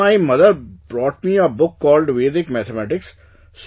So, my mother brought me a book called Vedic Mathematics